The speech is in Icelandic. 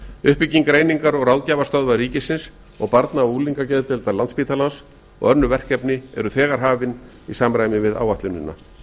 uppbygging greiningar og ráðgjafarstöðvar ríkisins og barna og unglingageðdeildar landsptílanas og önnur verkefni eru þegar hafin í samræmi við áætlunina